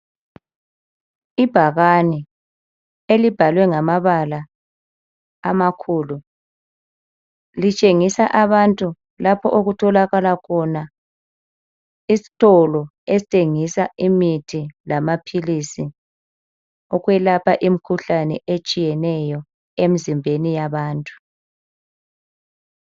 Ibhakane elibhalwe ngamabala amakhulu litshengisa abantu lapho okutholakala khona isitolo esithengisa imithi lamaphilisi okwelapha imikhuhlane etshiyeneyo emizimbeni yabantu.